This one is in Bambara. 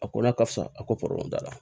A ko n'a ka fisa a ko t'a la